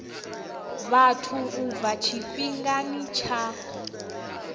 vhathu u bva tshifhingani tsha